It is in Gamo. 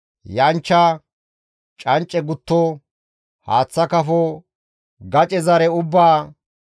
Yanchcha, cancce gutto, haaththa kafo, gace zare ubbaa,